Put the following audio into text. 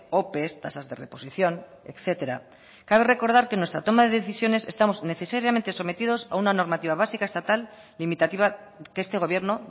ope tasas de reposición etcétera cabe recordar que en nuestra toma de decisiones estamos a una normativa básica estatal limitativa que este gobierno